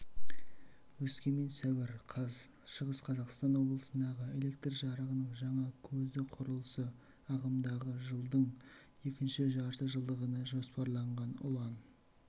өскемен сәуір қаз шығыс қазақстан облысындағы электр жарығының жаңа көзіқұрылысы ағымдағы жылдың екінші жартыжылдығына жоспарланған ұлан